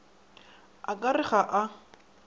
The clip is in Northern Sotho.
a ka re ga a